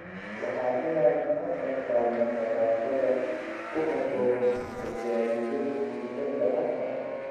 “Waa inaan hadda qaadnaa tallaabada ku habboon ka jaaliyad kubbadda cagta ah.